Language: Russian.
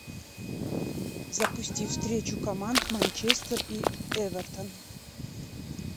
запусти встречу команд манчестер и эвертон